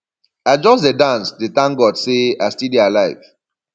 i just dey dance dey thank god say i still dey alive